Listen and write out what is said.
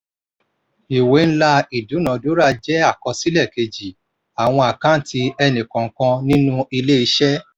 ìwé ńlá ìdúnadúrà jẹ́ àkọsílẹ̀ kejì àwọn àkáǹtì ẹni kọọkan nínú ilé-iṣẹ́